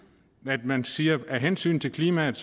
at man siger at af hensyn til klimaet